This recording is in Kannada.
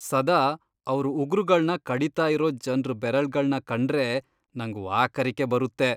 ಸದಾ ಅವ್ರ್ ಉಗ್ರುಗಳ್ನ ಕಡೀತಾ ಇರೋ ಜನ್ರ್ ಬೆರಳ್ಗಳ್ನ ಕಂಡ್ರೇ ನಂಗ್ ವಾಕರಿಕೆ ಬರುತ್ತೆ.